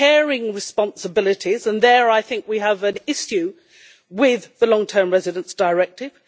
Some have caring responsibilities and there I think we have an issue with the long term residents directive.